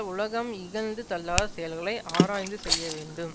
உலகம் இகழ்ந்து தள்ளாத செயல்களை ஆராய்ந்து செய்ய வேண்டும்